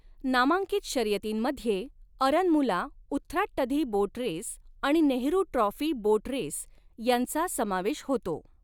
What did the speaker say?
नामांकित शर्यतींमध्ये Aranmula Uthrattadhi boat race आणि नेहरू ट्राॅफी बोट रेस यांचा समावेश होतो.